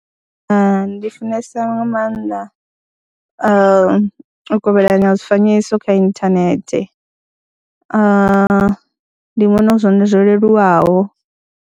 Ndi funesa nga maanḓa u kovhelana ha zwifanyiso kha inthanethe, ndi vhona hu zwone zwo leluwaho.